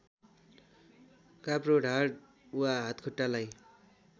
काप्रो ढाड वा हातखुट्टालाई